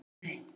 Já og nei!